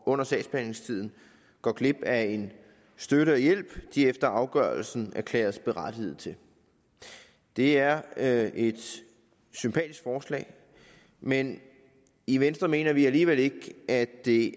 under sagsbehandlingstiden går glip af en støtte og hjælp de efter afgørelsen erklæres berettigede til det er er et sympatisk forslag men i venstre mener vi alligevel ikke at det